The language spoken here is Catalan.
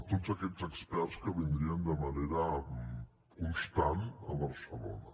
tots aquests experts que vindrien de manera constant a barcelona